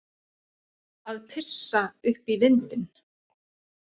Að pissa upp í vindinn